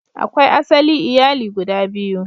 Akwai asali iyali guda biyu.